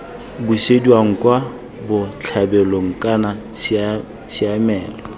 busediwang kwa botlhabelong kana tshiamelo